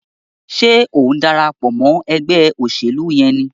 Ṣe o ń darapọ̀ mọ ègbé òṣèlú yén ní?